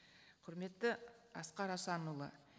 құрметті асқар асанұлы